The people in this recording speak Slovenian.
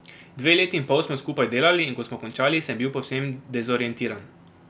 Dve leti in pol smo skupaj delali, in ko smo končali, sem bil povsem dezorientiran.